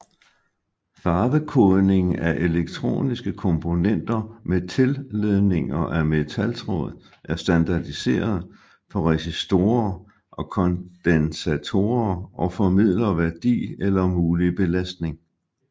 Farvekodning af elektroniske komponenter med tilledninger af metaltråd er standardiseret for resistorer og kondensatorer og formidler værdi eller mulig belastning